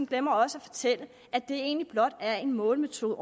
glemmer også at fortælle at det egentlig blot er en målemetode